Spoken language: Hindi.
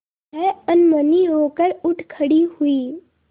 वह अनमनी होकर उठ खड़ी हुई